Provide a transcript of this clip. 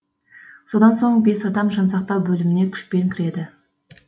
содан соң бес адам жансақтау бөліміне күшпен кіреді